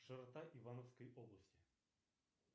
широта ивановской области